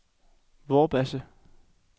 Vorbasse